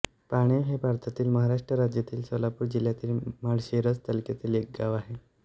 पाणिव हे भारतातील महाराष्ट्र राज्यातील सोलापूर जिल्ह्यातील माळशिरस तालुक्यातील एक गाव आहे